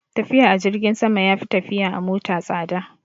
Tafiya a jirgin sama ya fi tafiya a mota tsada